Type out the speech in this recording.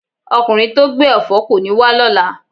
Okunrin to gbe èfó koni wa lola